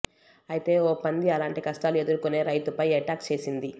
అయితే ఓ పంది అలాంటి కష్టాలు ఎదుర్కొనే రైతుపై ఎటాక్ చేసింది